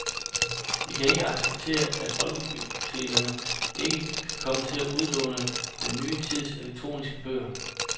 Vi kan ikke acceptere, at folkebibliotekerne ikke kan komme til at udlåne den ny tids elektroniske bøger.